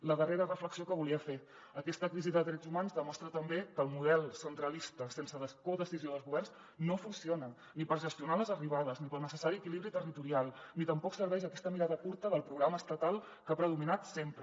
la darrera reflexió que volia fer aquesta crisi de drets humans demostra també que el model centralista sense codecisió dels governs no funciona ni per gestionar les arribades ni pel necessari equilibri territorial ni tampoc serveix aquesta mirada curta del programa estatal que ha predominat sempre